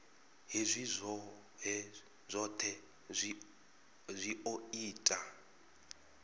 hezwi zwohe zwi o ita